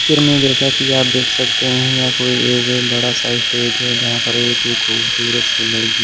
picture में जैसा कि आप देख सकते हैं ये कोई एक बड़ा सा स्टेज है जहां पर एक ही खूबसूरत सी लड़की--